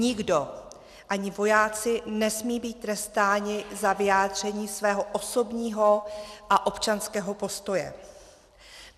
Nikdo, ani vojáci nesmí být trestáni za vyjádření svého osobního a občanského postoje.